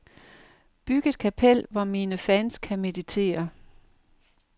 Byg et kapel, hvor mine fans kan meditere.